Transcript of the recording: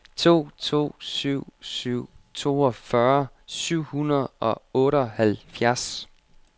to to syv syv toogfyrre syv hundrede og otteoghalvfjerds